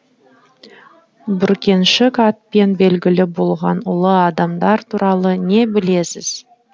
бүркеншік атпен белгілі болған ұлы адамдар туралы не білесіз